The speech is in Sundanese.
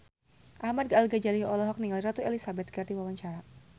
Ahmad Al-Ghazali olohok ningali Ratu Elizabeth keur diwawancara